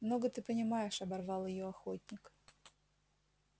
много ты понимаешь оборвал её охотник